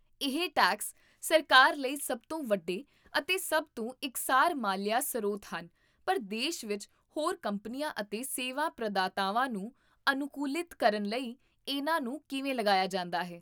ਇਹ ਟੈਕਸ ਸਰਕਾਰ ਲਈ ਸਭ ਤੋਂ ਵੱਡੇ ਅਤੇ ਸਭ ਤੋਂ ਇਕਸਾਰ ਮਾਲੀਆ ਸਰੋਤ ਹਨ ਪਰ ਦੇਸ਼ ਵਿੱਚ ਹੋਰ ਕੰਪਨੀਆਂ ਅਤੇ ਸੇਵਾ ਪ੍ਰਦਾਤਾਵਾਂ ਨੂੰ ਅਨੁਕੂਲਿਤ ਕਰਨ ਲਈ ਇਹਨਾਂ ਨੂੰ ਕਿਵੇਂ ਲਗਾਇਆ ਜਾਂਦਾ ਹੈ